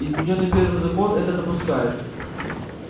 изменённый первый закон это допускает